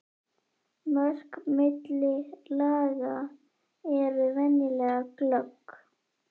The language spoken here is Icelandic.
Mörk milli laga eru venjulega glögg.